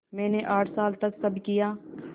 मैंने आठ साल तक सब किया